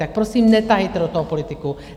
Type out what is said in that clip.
Tak prosím, netahejte do toho politiku.